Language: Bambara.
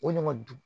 O ɲɔgɔndugu